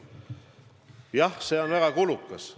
Aga jah, see on väga kulukas.